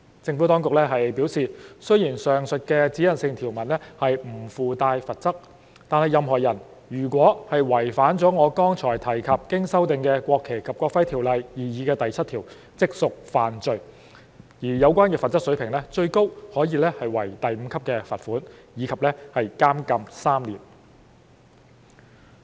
政府當局表示，雖然上述指引性條文不附帶罰則，但任何人如違反我剛才提及的經修訂的《國旗及國徽條例》的擬議第7條，即屬犯罪，而有關的罰則水平最高可為第5級罰款及監禁3年。